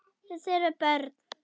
Það þurfa börn.